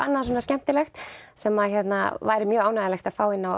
sem væri mjög ánægjulegt að fá inn á